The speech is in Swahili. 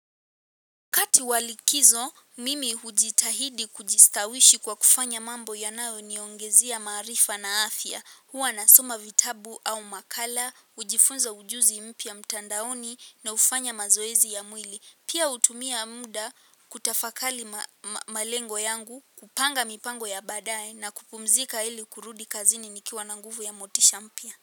Wakati wa likizo, mimi hujitahidi kujistawishi kwa kufanya mambo yanayoniongezea maarifa na afya. Huwa nasoma vitabu au makala, hujifunza ujuzi mpya mtandaoni na hufanya mazoezi ya mwili. Pia hutumia muda kutafakari malengo yangu, kupanga mipango ya baadaye, na kupumzika ili kurudi kazini nikiwa na nguvu ya motisha mpya.